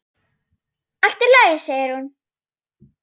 Allt í lagi, segir hún.